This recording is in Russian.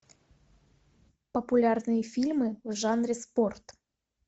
популярные фильмы в жанре спорт